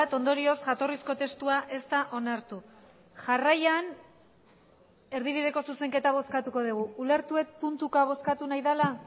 ondorioz jatorrizko testua ez da onartu jarraian erdibideko zuzenketa bozkatuko dugu ulertu dut puntuka bozkatu nahi dela